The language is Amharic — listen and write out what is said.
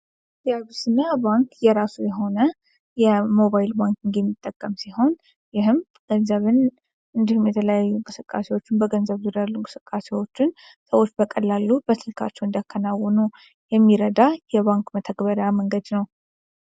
የአቢሲኒያ ባንክ የራሱ የሆነ ሞባይል ባንኪግ የሚጠቀም ሲሆን ይሄም ገንዘብን እንዲሁም የተለያዩ እንቅስቃሴወችን በገንዘብ ዙሪያ ያሉ እንቅስቃሴዎችን ሰወች በስልካቸዉ እንዲያከናዉኑ የሚረዳ የባንክ መተግበሪያ መንገድ ነዉ።